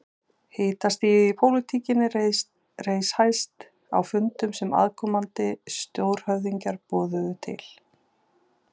Hitastigið í pólitíkinni reis hæst á fundum sem aðkomandi stórhöfðingjar boðuðu til.